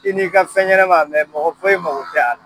I n'i ka fɛn ɲɛnama mɛ mɔgɔ foyi mago t'a la!